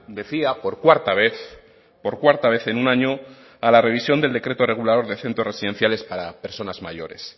emplace decía por cuarta vez por cuarta vez en un año para la revisión del decreto regulador de centros residenciales para personas